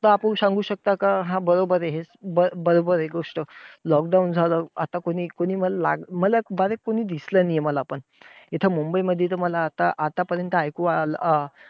तर आपण सांगू शकता का? हं बरोबर हे, बरोबर हे गोष्ट. lockdown झालं, आता कोणी कोणी ला कोणी कोणी दिसलं नाहीये मला पण. इथं मुंबईमध्ये तर मला आता आतापर्यंत ऐकू आलं अं